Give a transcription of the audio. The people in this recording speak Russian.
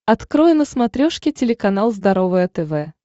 открой на смотрешке телеканал здоровое тв